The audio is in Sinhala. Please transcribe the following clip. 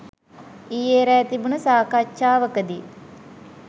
ඊයෙ රෑ තිබුන සාකච්ඡාවකදි